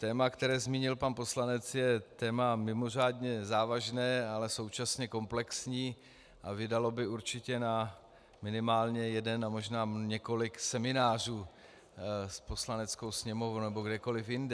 Téma, které zmínil pan poslanec, je téma mimořádně závažné, ale současně komplexní a vydalo by určitě na minimálně jeden a možná několik seminářů s Poslaneckou sněmovnou nebo kdekoliv jinde.